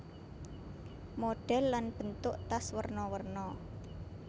Modhèl lan bentuk tas werna werna